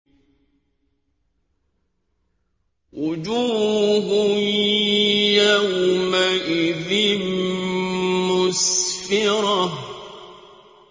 وُجُوهٌ يَوْمَئِذٍ مُّسْفِرَةٌ